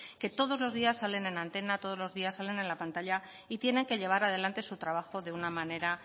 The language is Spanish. que todos los días salen en antena todos los días salen en la pantalla y tiene que llevar adelante su trabajo de una manera